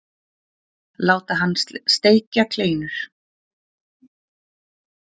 Láta hann steikja kleinur.